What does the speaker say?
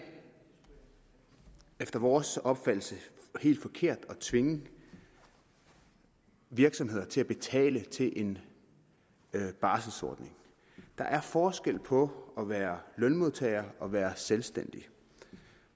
efter vores opfattelse helt forkert at tvinge virksomheder til at betale til en barselsordning der er forskel på at være lønmodtager og at være selvstændig